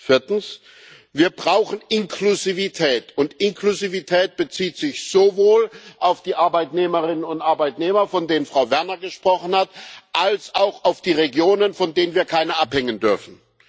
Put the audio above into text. Viertens Wir brauchen Inklusivität, und Inklusivität bezieht sich sowohl auf die Arbeitnehmerinnen und Arbeitnehmer, von denen Frau Werner gesprochen hat, als auch auf die Regionen, von denen wir keine abhängen dürfen.